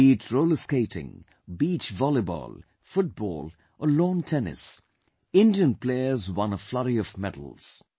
Be it Roller Skating, Beach Volleyball, Football or Lawn Tennis, Indian players won a flurry of medals